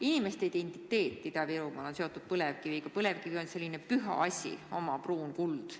Ida-Virumaa inimeste identiteet on seotud põlevkiviga, põlevkivi on selline püha asi – oma pruun kuld.